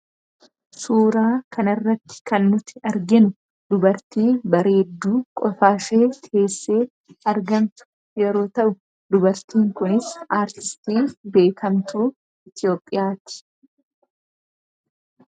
Suuraa kana irratti kan nuti arginu dubartii bareedduu qofaashee teessee argamtu yeroo ta'u; Dubartiin kunis aartistii beekamtuu Itoophiyaati.